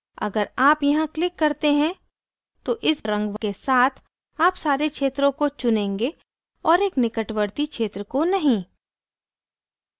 अगर आप यहाँ click करते हैं तो इस रंग के साथ आप सारे क्षत्रों को चुनेंगे और एक निकटवर्ती क्षेत्र को नहीं